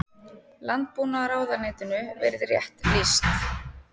Landbúnaðarráðuneytinu verið rétt lýst.